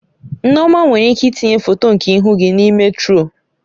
Nneoma nwere ike itinye foto nke ihu gị n'ime turuọ